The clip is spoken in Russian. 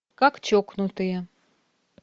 как чокнутые